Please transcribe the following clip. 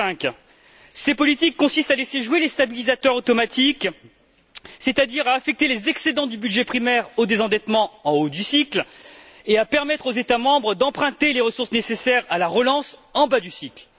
2005. Ces politiques consistent à jouer sur les stabilisateurs automatiques, c'est à dire à affecter les excédents du budget primaire au désendettement en haut du cycle, et à permettre aux États membres d'emprunter les ressources nécessaires à la relance en bas du cycle.